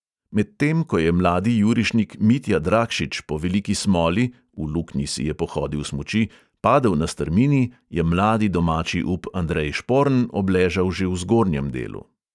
Medtem ko je mladi jurišnik mitja dragšič po veliki smoli (v luknji si je pohodil smuči) padel na strmini, je mladi domači up andrej šporn obležal že v zgornjem delu.